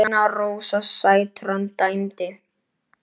Hrefna Rósa Sætran dæmdi.